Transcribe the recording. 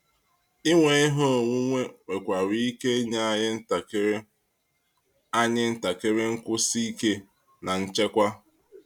Inwe ihe onwunwe nwekwara ike inye anyị ntakịrị anyị ntakịrị nkwụsi ike na nchekwa.